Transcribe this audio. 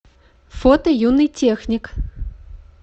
фото юный техник